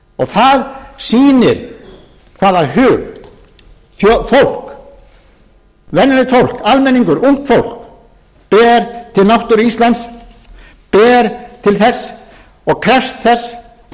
það sýnir hvaða hug fólk venjulegt fólk almenningur ungt fólk ber til náttúru íslands ber til þess og krefst þess